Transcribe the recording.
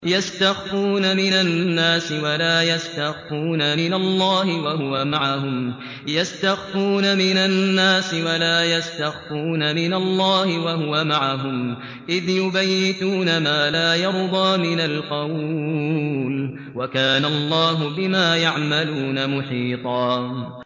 يَسْتَخْفُونَ مِنَ النَّاسِ وَلَا يَسْتَخْفُونَ مِنَ اللَّهِ وَهُوَ مَعَهُمْ إِذْ يُبَيِّتُونَ مَا لَا يَرْضَىٰ مِنَ الْقَوْلِ ۚ وَكَانَ اللَّهُ بِمَا يَعْمَلُونَ مُحِيطًا